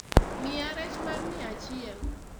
miya rech mar miya achiel